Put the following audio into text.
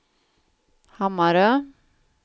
Hammarö